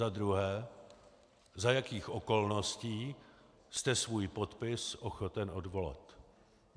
Za druhé: Za jakých okolností jste svůj podpis ochoten odvolat?